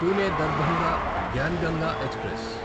Pune Darbhanga Gyan Ganga express